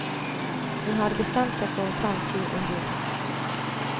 Hun hadde bestemt seg for å ta en tur ombord.